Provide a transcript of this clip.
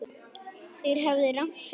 Þeir höfðu rangt fyrir sér.